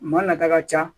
Maa nata ka ca